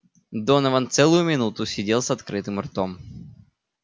донован целую минуту сидел с открытым ртом